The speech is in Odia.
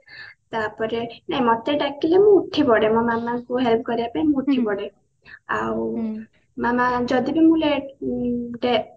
ତାପରେ ନାଇଁ ମୋତେ ଡାକିଲେ ମୁଁ ଉଠିପଡେ ମୋ ମାମାଙ୍କୁ help କରିବା ପାଇଁ ମୁଁ ଉଠିପଡେ ଆଉ ମାମା ଯଦି ବି ମୁଁ late ଉଁ ରେ